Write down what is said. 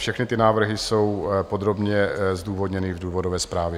Všechny ty návrhy jsou podrobně zdůvodněny v důvodové zprávě.